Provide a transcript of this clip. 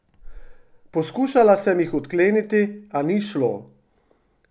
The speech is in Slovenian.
Poskušala sem jih odkleniti, a ni šlo.